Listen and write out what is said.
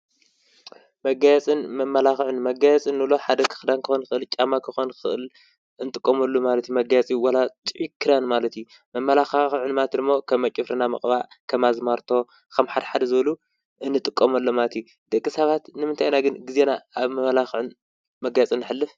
መጋየፅን መመላክዕን፡- መጋየፂ እንብሎ ሓደ ክዳን ክኮን ይክእል እዩ። ጫማ ክኮን ይክእል እዩ። እንጥቀሙሉ ዋላ ጥዑይ ክዳን ማለት እዩ። መመላኪዒ ማለት ድማ ከም ኣብ ፅፍርና ኣዝማልቶ ምቅባእ ከም ሓደሓደ እንጥቀመሎም ማለት እዩ። ደቂ ሰባት ንምንታይ ኢና ግዝየና ኣብ መመላክዕን መጋየፅን እነሕልፍ?